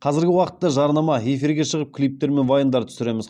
қазіргі уақытта жарнама эфирге шығып клиптер мен вайндар түсіреміз